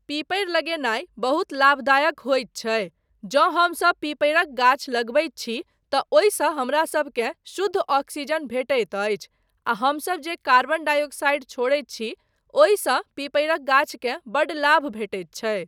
पीपरि लगेनाय बहुत लाभदायक होइत छै, जँ हमसब पीपरिक गाछ लगबैत छी तँ ओहिसँ हमरासबकेँ शुद्ध ऑक्सीजन भेटैत अछि आ हमसब जे कार्बन डाई ऑक्साइड छोड़ैत छी, ओहिसँ पीपरिक गाछकेँ बड्ड लाभ भेटैत छै।